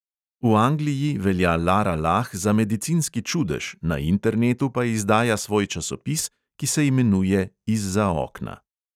V angliji velja lara lah za medicinski čudež, na internetu pa izdaja svoj časopis, ki se imenuje izza okna.